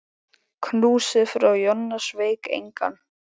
Knúsið frá Jonna sveik engan.